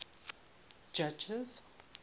judges